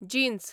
jeans